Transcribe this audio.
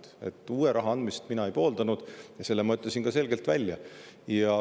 raha andmist mina ei pooldanud ja selle ma ütlesin ka selgelt välja.